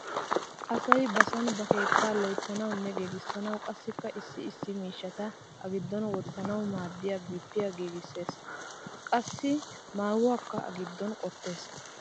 Asay ba sooni ba kettaa loyttanawunne giigissanawu qassikka issi issi miishshata a giddon wottanawu maaddiya bippiya giigississees. Qassi maayuwakka a giddon qottees.